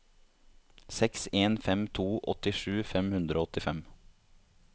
seks en fem to åttisju fem hundre og åttifem